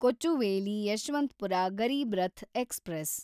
Kochuveli Yesvantpur Garib Rath express